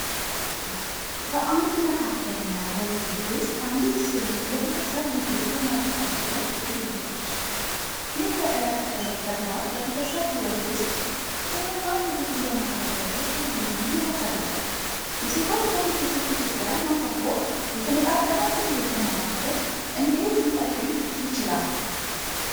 በአንድ መካከለኛ ወጥ ቤት ውስጥ አንዲት ሴት የቤተሰብ ምግብ በማዘጋጀት ላይ ትገኛለች። ይህ የዕለት ተዕለት ተግባር በቤተሰብ ሕይወት ውስጥ ጤናማ ምግብን በማቅረብ ረገድ ያለውን ሚና ያሳያል። የሴቶች በምግብ ዝግጅት ላይ ማተኮር የተመጣጠነ ምግብን ለማሳደግ እንዴት ሊጠቅም ይችላል?